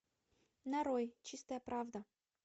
нарой чистая правда